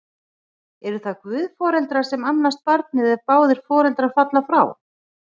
Eru það guðforeldrar sem annast barnið, ef báðir foreldrar falla frá?